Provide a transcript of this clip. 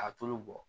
A tulu bɔ